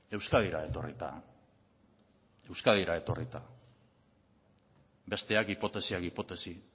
euskadira etorrita euskadira etorrita besteak hipotesiak hipotesi